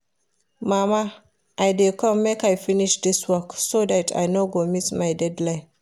Mama I dey come make I finish dis work so dat I no go miss my deadline